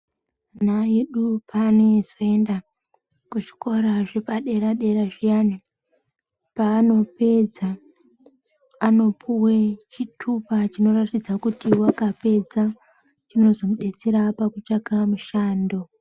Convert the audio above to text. Na edu panezeenda kuchikora zvepadera dera zviyana paanopedza anopuwe chitupa chinoratidze kuti wakapedza chinozomudetsera pakutsvake mushando.